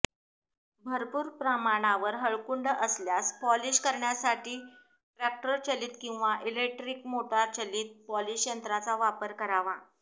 भरपूर प्रमाणावर हळकुंड असल्यास पॉलिश करण्यासाठी ट्रॅक्टरचलीत किंवा इलेक्ट्रीक मोटारचलीत पॉलिश यंत्राचा वापर करावा